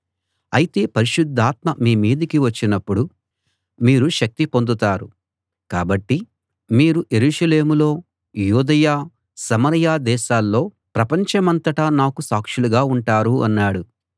అయితే పరిశుద్ధాత్మ మీ మీదికి వచ్చినప్పుడు మీరు శక్తి పొందుతారు కాబట్టి మీరు యెరూషలేములో యూదయ సమరయ దేశాల్లో ప్రపంచమంతటా నాకు సాక్షులుగా ఉంటారు అన్నాడు